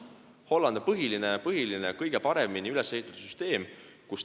Hollandis on kõige paremini üles ehitatud süsteem.